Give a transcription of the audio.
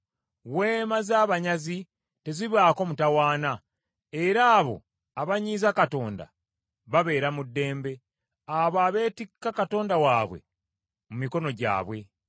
Weema z’abanyazi tezibaako mutawaana, era abo abanyiiza Katonda babeera mu ddembe abo abeetikka katonda waabwe mu mikono gyabwe.